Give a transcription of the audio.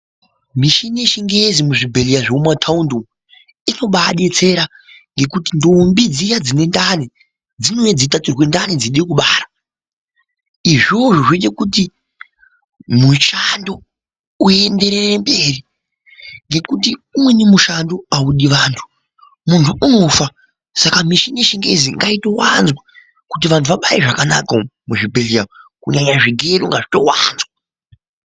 Mishini yechingezi muzvibhehleya zvemumataundi umu inobaadetsera ngekuti ndombi dziya dzine ndani dzimweni dzeitaturwe ndani dzeide kubara, izvozvo zvoitekuti mushando uyendereremberi ngekuti umweni mushando audi vantu munhu unofa saka mishini yechingezi ngaitowanzwa kuti vanhu vabare zvakanaka muzvibhehleya umwu kunyanyanya zvigero ngazvito wanzwa.